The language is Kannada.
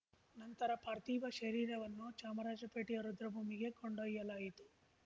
ನಂತರ ಪಾರ್ಥಿವ ಶರೀರವನ್ನು ಚಾಮರಾಜಪೇಟೆಯ ರುದ್ರಭೂಮಿಗೆ ಕೊಂಡೊಯ್ಯಲಾಯಿತು